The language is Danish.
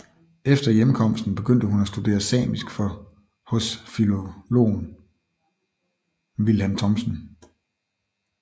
Efter hjemkomsten begyndte hun at studere samisk hos filologen Vilhelm Thomsen